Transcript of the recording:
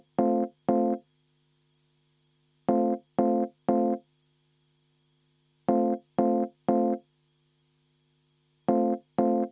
Eelnõu 544 esimene lugemine on lõpetatud.